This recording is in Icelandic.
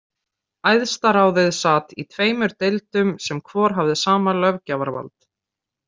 Æðstaráðið sat í tveimur deildum sem hvor hafði sama löggjafarvald.